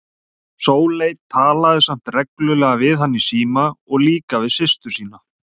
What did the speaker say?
Sóley talaði samt reglulega við hann í síma og líka við systur sínar.